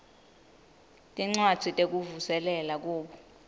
tincwadzi tekuvuselela kubo